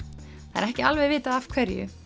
það er ekki alveg vitað af hverju